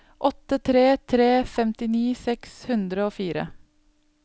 åtte tre tre tre femtini seks hundre og fire